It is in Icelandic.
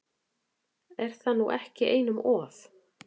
Er það nú ekki einum of?